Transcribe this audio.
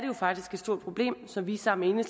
jo faktisk et stort problem som vi sammen med